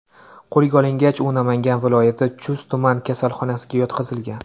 Qo‘lga olingach, u Namangan viloyati Chust tuman kasalxonasiga yotqizilgan.